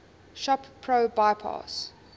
shop pro bypass